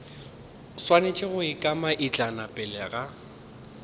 swanetše go ikanaitlama pele ga